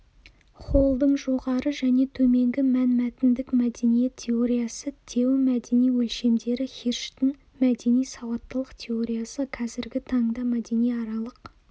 холлдың жоғары және төменгі мәнмәтіндік мәдениет теориясы теомәдени өлшемдері хирштің мәдени сауаттылық теориясы қазіргі таңда мәдениаралық